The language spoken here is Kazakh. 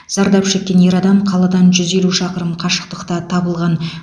зардап шеккен ер адам қаладан жүз елу шақырым қашықтықта табылған